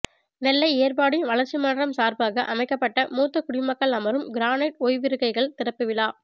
நெல்லை ஏர்வாடி வளர்ச்சி மன்றம் சார்பாக அமைக்கப்பட்ட மூத்த குடிமக்கள் அமரும் கிரானைட் ஓய்விருக்கைகள் திறப்புவிழா